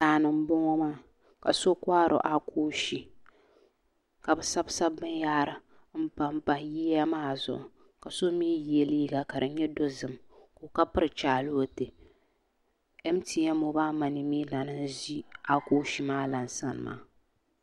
Daani n boŋo maa ka so kohari akoofi ka bi sabsabi binyahari n panpa yiya maa zuɣu ka so mii yɛ liiga ka di nyɛ dozim ka piri chɛlɛ waatɛ mtn moobal mani lan mii n ʒi akoofi maa lan sani maa